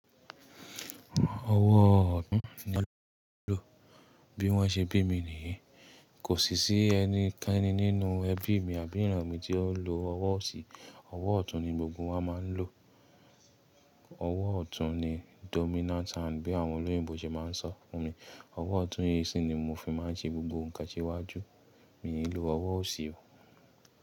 Ọwọ́ ọ̀tún ni ọ́ lọ́ jẹ́ ló, bí wọ́n ṣe bí mi nìyí. Kò sì sí ẹni kankan nínú ẹbí mi àbí ìran mi tí ó ń lo ọwọ́ ọ̀sì. Ọwọ́ ọ̀tún ni gbogbo wọn máa ń lò. Ọwọ́ ọ̀tún ni dominant hand bí àwọn olóyìnbo ṣe máa ń sọ fún mi. Ọwọ́ ọ̀tún yìí sì ni mo fi máa ń ṣe gbogbo nǹkan síwájú. Mi ò ní lo ọwọ́ ọ̀sì o.